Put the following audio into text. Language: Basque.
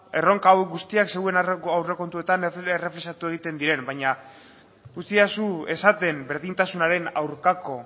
erronka hauek guztiak zuen aurrekontuetan errefuxiatu egiten diren baina utzidazu esaten berdintasunaren aurkako